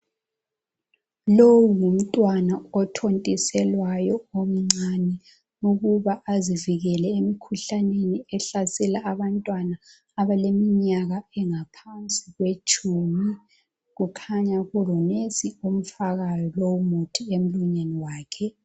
Lowu ngumntwana othontiselwayo omncane ukuba azivikele emkhuhlaneni ehlasela abantwana abaleminyaka engaphansi kwetshumi kukhanya kulonurse omfakayo lowu muthi emlonyeni wakhe.